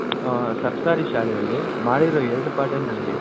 ಸರ್ಕಾರೀ ಶಾಲೆಯಲ್ಲಿ ಮಾಡಿರ ಎರಡು ಪಾಠನೆ ಆಗ್ಲಿ